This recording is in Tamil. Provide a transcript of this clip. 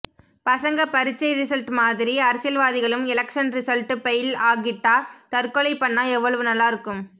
பசங்க பரிட்சை ரிசல்ட் மாதிரி அரசியல்வாதிகளும் எலக்சன் ரிசல்ட் பெய்ல் ஆகிட்டா தற்கொலை பண்ணா எவ்வளவு நல்லாருக்கும்